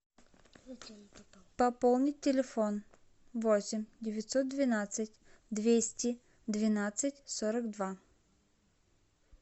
пополнить телефон восемь девятьсот двенадцать двести двенадцать сорок два